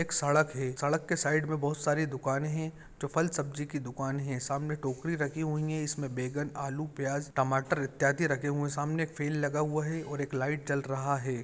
एक सड़क है सड़क के साइड में बहोत सारी दुकानें है जो फल सब्जी की दुकाने है सामने टोकरी रखी हुई है इसमें बैंगन आलू प्याज टमाटर इत्यादि रखे हुए सामने फील लगा हुआ है और एक लाइट जल रहा है।